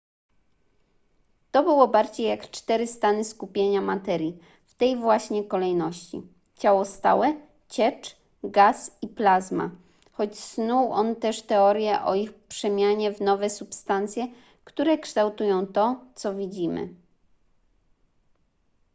to było bardziej jak cztery stany skupienia materii w tej właśnie kolejności: ciało stałe ciecz gaz i plazma choć snuł on też teorie o ich przemianie w nowe substancje które kształtują to co widzimy